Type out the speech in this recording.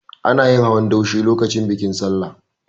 Ana yin hawan daushe lokacin bikin Sallah.